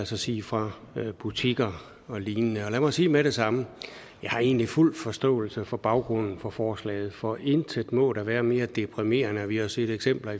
sige fra butikker og lignende og lad mig sige med det samme jeg har egentlig fuld forståelse for baggrunden for forslaget for intet må da være mere deprimerende det har vi jo set eksempler